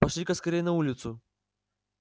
пошли-ка скорей на улицу